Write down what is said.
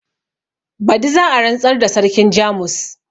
badi za a rantsar da sarkin jamus